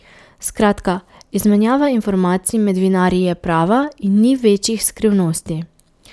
Skratka, izmenjava informacij med vinarji je prava in ni večjih skrivnosti.